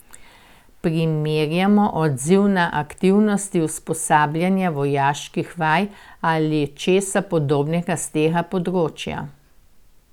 Primerjajmo odziv na aktivnosti usposabljanja, vojaških vaj ali česa podobnega s tega področja.